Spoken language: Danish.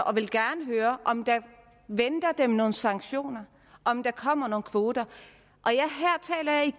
og vil gerne høre om der venter dem nogle sanktioner om der kommer nogle kvoter